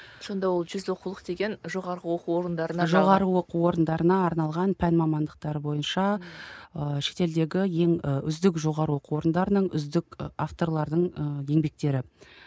сонда ол жүз оқулық деген жоғарғы оқу орындарына жоғары оқу орындарына арналған пән мамандықтар бойынша ыыы шетелдегі ең ы үздік жоғары оқу орындарының үздік ы авторлардың ы еңбектері